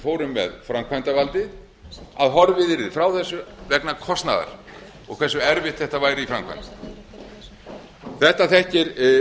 fórum með framkvæmdarvaldið að horfið yrði frá þessu vegna kostnaðar og hversu eitt þetta væri í framkvæmd þetta þekkir